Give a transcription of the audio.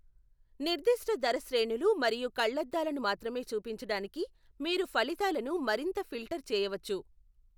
నిర్దిష్ట ధర శ్రేణులు మరియు కళ్లద్దాలను మాత్రమే చూపించడానికి మీరు ఫలితాలను మరింత ఫిల్టర్ చేయవచ్చు.